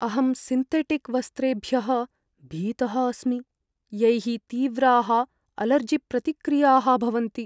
अहं सिन्तेटिक् वस्त्रेभ्यः भीतः अस्मि यैः तीव्राः अलर्जिप्रतिक्रियाः भवन्ति।